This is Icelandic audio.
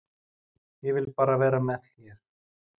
Ég vil bara vera með þér.